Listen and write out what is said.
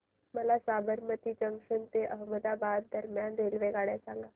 मला साबरमती जंक्शन ते अहमदाबाद दरम्यान रेल्वेगाड्या सांगा